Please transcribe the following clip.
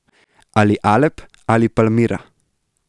Ali Alep ali Palmira.